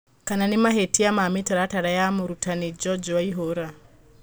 Kana nĩ mahĩtia ma mĩtaratara ya murutani George waihura.